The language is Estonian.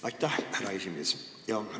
Aitäh, härra esimees!